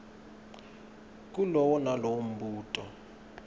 kulowo nalowo mbuto